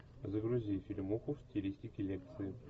загрузи фильмуху в стилистике лекции